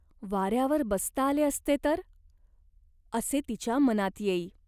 वाऱ्यावर बसता आले असते तर ? असे तिच्या मनात येई.